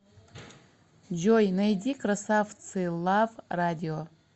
джой найди красавцы лав радио